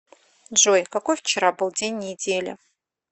джой какой вчера был день недели